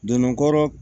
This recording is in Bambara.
Donna kɔrɔ